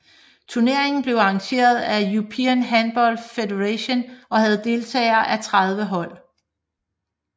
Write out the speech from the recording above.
Turneringen blev arrangeret af European Handball Federation og havde deltagelse af 30 hold